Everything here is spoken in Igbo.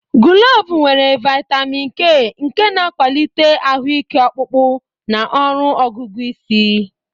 Gulovu nwere vitamin K, nke na-akwalite ahụ ike ọkpụkpụ na ọrụ ọgụgụ isi.